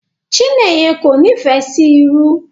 Chineyen kò n'ifẹ sí ìrù.